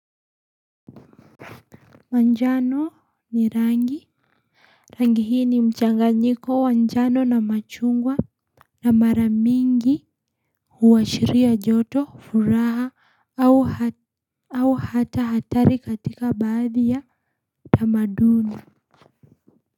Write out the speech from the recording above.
Manjano ni rangi, rangi hii ni mchanganyiko njano na machungwa. Na mara nyiingi huashiria joto furaha au hata hatari katika baadhi ya tamaduni.